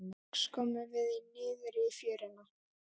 Loks komum við niður í fjöruna.